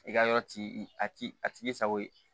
I ka yɔrɔ t'i a t'i a t'i sago ye